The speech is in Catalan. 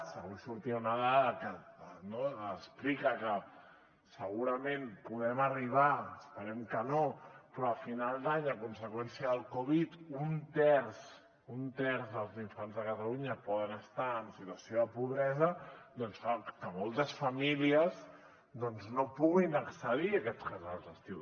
avui sortia una dada que explica que segurament podem arribar esperem que no però a final d’any a conseqüència de la covid un terç dels infants de catalunya poden estar en situació de pobresa doncs fa que moltes famílies no puguin accedir a aquests casals d’estiu